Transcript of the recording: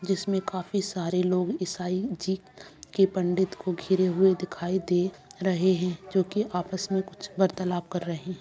जिसमें काफी सारे लोग ईसाई जी के पंडित को घेरे हुए दिखाई दे रहे हैं जो कि आपस में कुछ वार्तालाप कर रहे हैं।